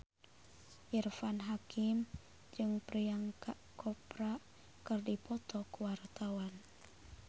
Irfan Hakim jeung Priyanka Chopra keur dipoto ku wartawan